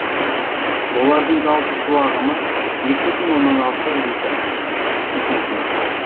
олардың жалпы су ағымы екі бүтін оннан алты литр секундына